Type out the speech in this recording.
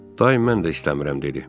Daim mən də istəmirəm dedi.